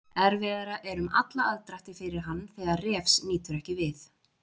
Erfiðara er um alla aðdrætti fyrir hann þegar Refs nýtur ekki við.